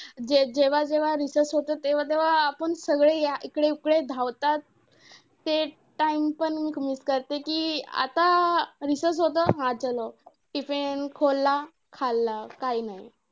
जे जेव्हा जेव्हा recess होते, तेव्हा तेव्हा आपण सगळे या इकडे तिकडे धावतात. ते time पण miss करते कि आता recess होते हा tiffin खाल्ला, काय नाही.